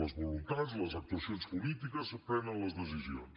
les voluntats les actuacions polítiques prenen les decisions